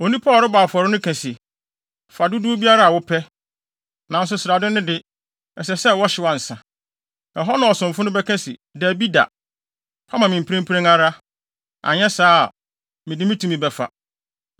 Onipa a ɔrebɔ afɔre no ka se, “Fa dodow biara a wopɛ, nanso srade no de, ɛsɛ sɛ wɔhyew ansa.” Ɛhɔ na ɔsomfo no bɛka se, “Dabi da, fa ma me mprempren ara, anyɛ saa a, mede me tumi bɛfa.”